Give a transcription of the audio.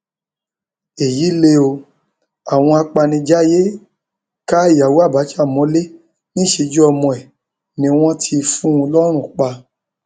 èyí lè o àwọn apanijayé ka ìyàwó abcha mọlẹ níṣẹjú ọmọ ẹ ni wọn ti fún un lọrùn pa